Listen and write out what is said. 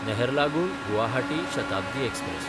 Naharlagun Guwahati Shatabdi express